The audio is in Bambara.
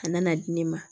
A nana di ne ma